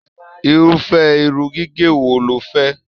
Irufẹ irun gígé wò ló fẹ?